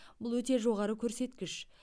бұл өте жоғары көрсеткіш